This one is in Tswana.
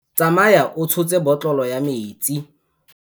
Tsamaya o tshotse botlolo ya metsi.